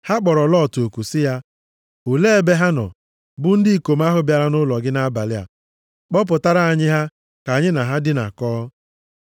Ha kpọrọ Lọt oku sị ya, “Olee ebe ha nọ, bụ ndị ikom ahụ bịara nʼụlọ gị nʼabalị a? Kpọpụtara anyị ha ka anyị na ha dinakọọ.”